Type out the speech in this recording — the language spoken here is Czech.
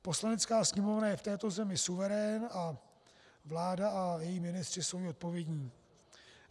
Poslanecká sněmovna je v této zemi suverén a vláda a její ministři jsou jí odpovědní.